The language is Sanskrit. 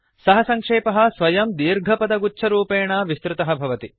सः सङ्क्षेपः स्वयं दीर्घपदगुच्छरूपेण विस्तृतः भवति